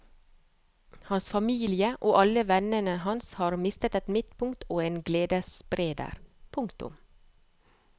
Hans familie og alle vennene hans har mistet et midtpunkt og en gledesspreder. punktum